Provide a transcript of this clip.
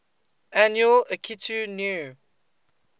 annual akitu new